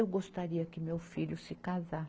Eu gostaria que meu filho se casa